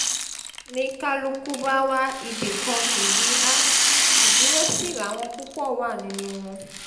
ni kálukú bá wá ibì kan fìdí há ìdúró sí làwọn púpọ̀ wà nínú wọn